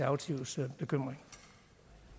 ressourcer